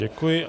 Děkuji.